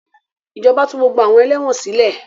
Ìjọba tú gbogbo àwọn ẹlẹ́wọ̀n sile